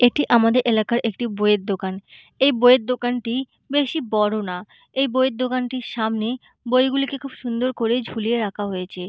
এটি আমাদের এলাকার একটি বইয়ের দোকান এই বইয়ের দোকানটি বেশি বড় না এই বইয়ের দোকানটির সামনে বইগুলিকে খুব সুন্দর করে ঝুলিয়ে রাখা হয়েছে।